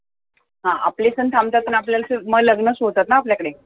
हा आपले सण थांबतात म ल लग्न सुरु होतात ना आपल्याकडे